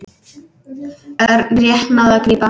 Örn rétt náði að grípa.